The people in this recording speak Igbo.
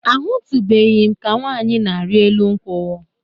Ahụtụbeghị m ka nwaanyị na-arị elu nkwụ.